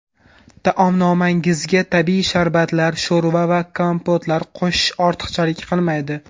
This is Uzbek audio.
Taomnomangizga tabiiy sharbatlar, sho‘rva va kompotlar qo‘shish ortiqchalik qilmaydi.